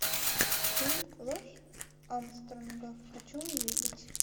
фильм ложь армстронга хочу увидеть